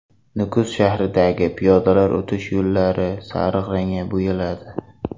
Nukus shahridagi piyodalar o‘tish yo‘llari sariq rangga bo‘yaladi.